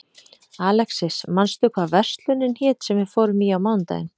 Alexis, manstu hvað verslunin hét sem við fórum í á mánudaginn?